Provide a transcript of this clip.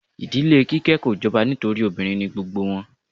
Ìdílé Kíké kò jọba nítorí obìnrin ni gbogbo wọn.